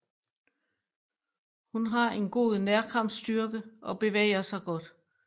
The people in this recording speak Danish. Hun har en god nærkampsstyrke og bevæger sig godt